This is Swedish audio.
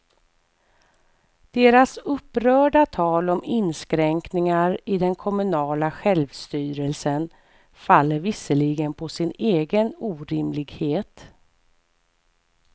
Deras upprörda tal om inskränkningar i den kommunala självstyrelsen faller visserligen på sin egen orimlighet.